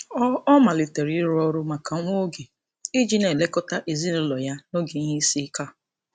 Ọ Ọ malitere ịrụ ọrụ maka nwa oge iji na-elekọta ezinaụlọ ya n'oge ihe isiike a.